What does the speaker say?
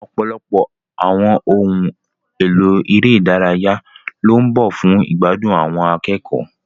Ọ̀pọ̀lọpọ̀ àwọn ohun èlò eré ìdárayá ló ń bọ̀ fún ìgbádùn àwọn akẹ́kọ̀ọ́.